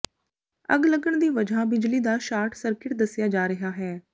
ਅੱਗ ਲੱਗਣ ਦੀ ਵਜ੍ਹਾ ਬਿਜਲੀ ਦਾ ਸ਼ਾਰਟ ਸਰਕਿਟ ਦੱਸਿਆ ਜਾ ਰਿਹਾ ਹੈ